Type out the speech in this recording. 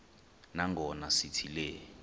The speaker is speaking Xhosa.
nangona sithi le